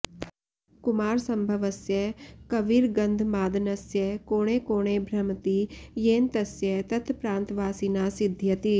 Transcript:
कुमारसम्भवस्य कविर्गन्धमादनस्य कोणे कोणे भ्रमति येन तस्य तत्प्रान्तवासिना सिध्यति